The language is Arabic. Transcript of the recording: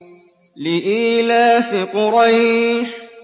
لِإِيلَافِ قُرَيْشٍ